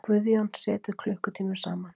Guðjón setið klukkutímum saman.